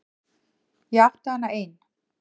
Ég átti hana ein.